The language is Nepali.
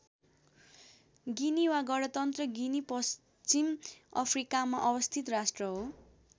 गिनी वा गणतन्त्र गिनी पश्चिम अफ्रिकामा अवस्थित राष्ट्र हो।